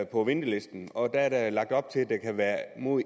på ventelisten og at der er lagt op til at det kan være mod